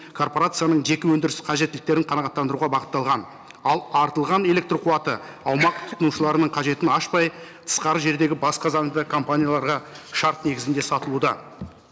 корпорацияның жеке өндіріс қажеттіліктерін қанағаттандыруға бағытталған ал артылған электрқуаты аумақ тұтынушыларының қажетін ашпай тысқары жердегі басқа заңды компанияларға шарт негізінде сатылуда